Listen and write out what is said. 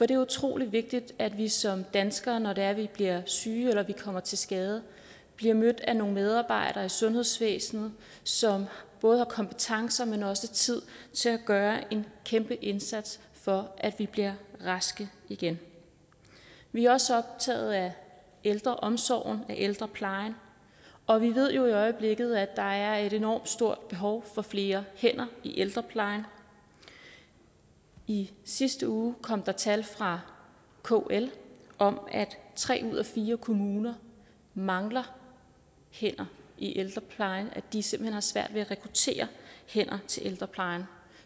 det er utrolig vigtigt at vi som danskere når det er vi bliver syge eller kommer til skade bliver mødt af nogle medarbejdere i sundhedsvæsenet som både har kompetencer men også tid til at gøre en kæmpe indsats for at vi bliver raske igen vi er også optaget af ældreomsorgen af ældreplejen og vi ved jo i øjeblikket at der er et enormt stort behov for flere hænder i ældreplejen i sidste uge kom der tal fra kl om at tre ud af fire kommuner mangler hænder i ældreplejen og at de simpelt hen har svært ved at rekruttere hænder til ældreplejen